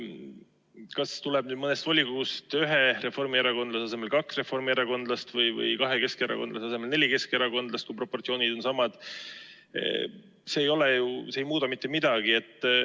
See, kas tuleb nüüd mõnest volikogust ühe reformierakondlase asemel kaks reformierakondlast või kahe keskerakondlase asemel neli keskerakondlast, ei muuda ju mitte midagi, kui proportsioonid on samad.